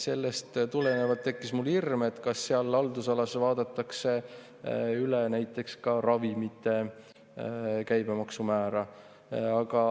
Sellest tulenevalt tekkis mul hirm, kas seal haldusalas vaadatakse üle näiteks ka ravimite käibemaksumäär.